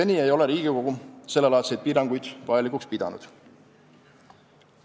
Riigikogu ei ole sellelaadseid piiranguid seni vajalikuks pidanud.